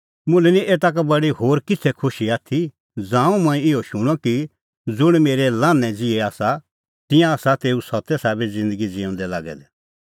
मुल्है निं एता का बडी होर किछ़ै खुशी आथी ज़ांऊं मंऐं इहअ शूणअ कि ज़ुंण मेरै लान्हैं ज़िहै आसा तिंयां आसा तेऊ सत्ते साबै ज़िन्दगी ज़िऊंदै लागै दै